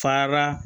Fara